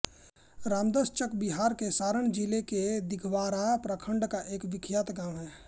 रामदासचक बिहार के सारण जिले के दिघवारा प्रखण्ड का एक बिख्यात गाँव है